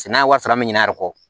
Sɛnɛ ye wari sara an bɛ ɲinɛ a yɛrɛ kɔ